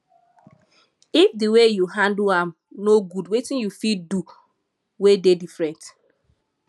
if di way yu handle am no gud wetin yu for fit do wey diffrent